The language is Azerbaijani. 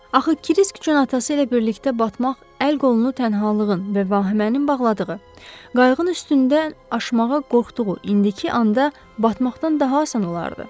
Axı Krisk üçün atası ilə birlikdə batmaq, əl-qolunu tənhalığın və vahimənin bağladığı, qayığın üstündən aşmağa qorxduğu indiki anda batmaqdan daha asan olardı.